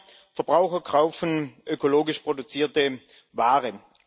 Immer mehr Verbraucher kaufen ökologisch produzierte Waren.